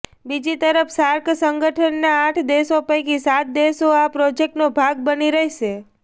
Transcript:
બીજી તરફ સાર્ક સંગઠનના આઠ દેશો પૈકી સાત દેશો આ પ્રોજેક્ટનો ભાગ બની રહેશે